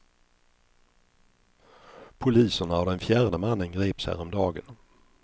Poliserna och den fjärde mannen greps häromdagen.